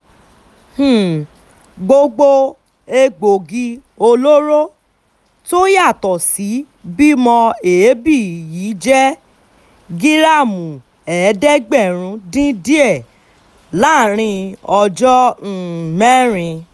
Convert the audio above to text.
um gbogbo egbòogi olóró tó yá tó sì bí mọ́ èébì yìí jẹ́ gíráàmù ẹ̀ẹ́dẹ́gbẹ̀rún dín díẹ̀ láàrin ọjọ́ um mẹ́rin